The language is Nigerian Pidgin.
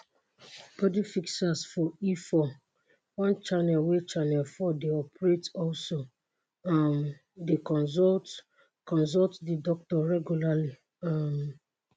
body fixers for e4 one channel wey channel 4 dey operate also um dey consult consult di doctor regularly. um